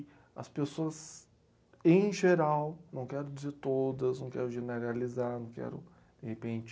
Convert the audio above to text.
As pessoas, em geral, não quero dizer todas, não quero generalizar, não quero, de repente...